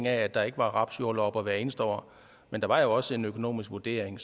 at der ikke var rapsjordlopper hvert eneste år men der var jo også en økonomisk vurdering